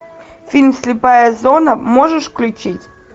фильм слепая зона можешь включить